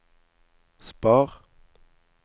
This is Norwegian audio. spar